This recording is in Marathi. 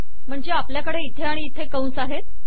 म्हणजे आपल्याकडे इथे आणि इथे कंस आहेत